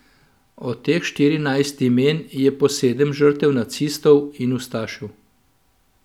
Od teh štirinajstih imen je po sedem žrtev nacistov in ustašev.